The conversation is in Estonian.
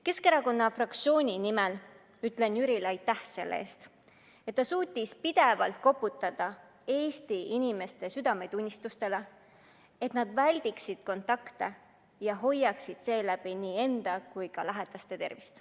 Keskerakonna fraktsiooni nimel ütlen Jürile aitäh selle eest, et ta suutis pidevalt koputada Eesti inimeste südametunnistusele, et nad väldiksid kontakte ja hoiaksid seeläbi nii enda kui ka lähedaste tervist.